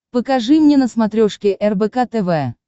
покажи мне на смотрешке рбк тв